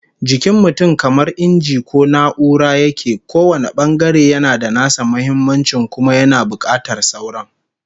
Jikin mutum kamar inji ko na'ura yake, kowane bangare yana da nasa muhimmancin kuma yana bukatar sauran